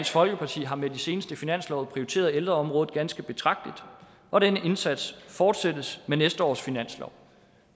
folkeparti har med de seneste finanslove prioriteret ældreområdet ganske betragteligt og denne indsats fortsættes med næste års finanslov